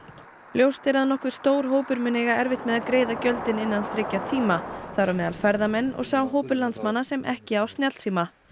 ljóst er að nokkuð stór hópur mun eiga erfitt með að greiða gjöldin innan þriggja tíma þar á meðal ferðamenn og sá hópur landsmanna sem ekki á snjallsíma